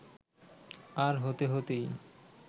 আর হতে হতেই